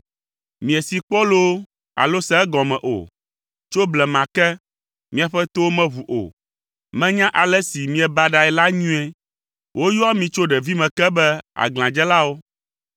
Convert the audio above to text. Miesee kpɔ loo alo se egɔme o. Tso blema ke, miaƒe towo meʋu o. Menya ale si miebaɖae la nyuie. Woyɔa mi tso ɖevime ke be, aglãdzelawo.